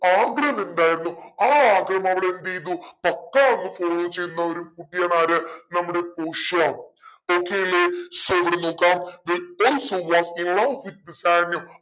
ആഗ്രഹമെന്തായിരുന്നു ആ ആഗ്രഹം അവളെന്തെയ്തു പക്കാ അങ്ങ് follow ചെയ്യുന്ന ഒരു കുട്ടിയാണ് ആര് നമ്മുടെ പോഷിയ okay അല്ലെ so ഇവിടെ നോക്കാം also